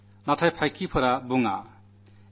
പക്ഷേ സൈന്യം സംസാരിക്കില്ല